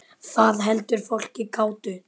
Það heldur fólki kátu.